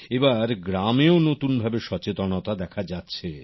এবার গ্রামে ও নতুনভাবে সচেতনতা দেখা যাচ্ছে